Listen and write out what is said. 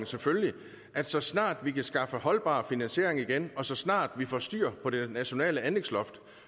selvfølgelig at så snart vi kan skaffe holdbar finansiering igen og så snart vi får styr på det nationale anlægsloft